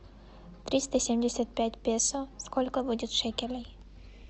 триста семьдесят пять песо сколько будет шекелей